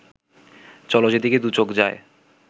চলো যেদিকে দুচোখ যায়